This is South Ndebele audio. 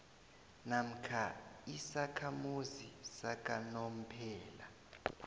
namkha isakhamuzi sakanomphela